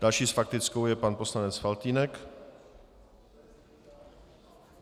Další s faktickou je pan poslanec Faltýnek.